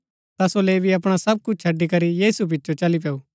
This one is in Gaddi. ता सो लेवी अपणा सव कुछ छड़ी करी यीशु पिचो चली पैऊँ